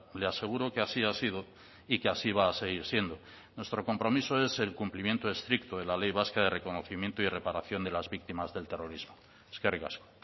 le aseguro que así ha sido y que así va a seguir siendo nuestro compromiso es el cumplimiento estricto de la ley vasca de reconocimiento y reparación de las víctimas del terrorismo eskerrik asko